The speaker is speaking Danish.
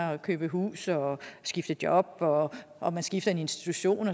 at købe hus og skifte job og og skifte institution